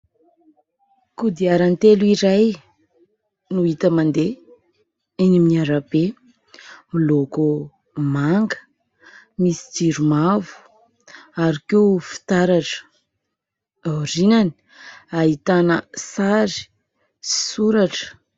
Koadiarantelo iray no hita mandeha eny amin'ny arabe, miloko manga, misy jiro mavo ary koa fitaratra. Aorianany ahitana sary sy soratra.